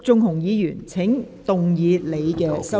陸頌雄議員，請動議你的修正案。